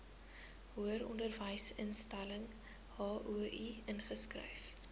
hoëronderwysinstelling hoi ingeskryf